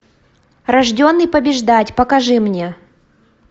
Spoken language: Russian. рожденный побеждать покажи мне